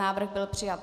Návrh byl přijat.